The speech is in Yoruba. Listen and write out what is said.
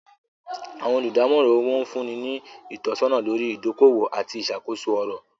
Awọn olùdamòran owó nfunni ni itọ̀sọna lórí idòkọ-owó àti iṣakoso ọ̀rọ̀.